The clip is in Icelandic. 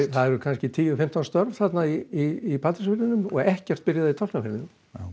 það eru kannski tíu til fimmtán störf í Patreksfirðinum og ekkert byrjað í Tálknafirðinum